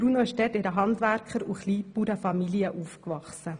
Bruno ist in einer Handwerker- und Kleinbauernfamilie aufgewachsen.